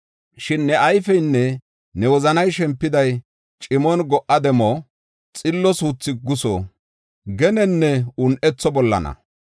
Shin ne ayfeynne ne wozanay shempiday, cimon go77a demo, xillo suuthi guso, genenne un7etho bollana.